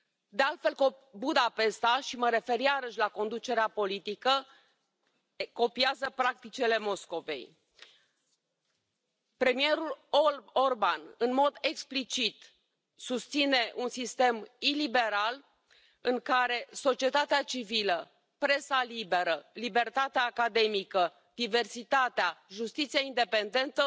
De altfel, Budapesta, și mă refer iarăși la conducerea politică, copiază practicile Moscovei. Premierul Orban, în mod explicit, susține un sistem iliberal, în care societatea civilă, presa liberă, libertatea academică, diversitatea, justiția independentă